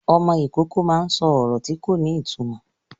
Ọmọ Ìkọkọ má ń sọ ọrọ tí kò ní ìtumọ